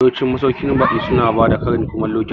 Yawancin masauƙin baƙi su na bada karin kumallo kyauta